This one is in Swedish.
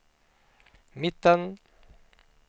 mitten